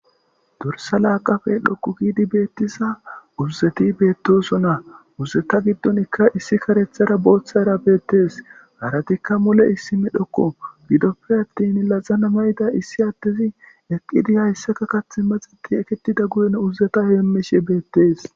Dorssa laaqappe dhoqqu giidi beettiza dorsseti beettosona. Dorsseta giddonkka issi kareththara booththara beettes. Harattikka mule issi medhokko gidoppe attin laxana mayida issi addezi eqqidi hayssaka kaththi maxeti eketida guyen uzzeta heemmishe beetes.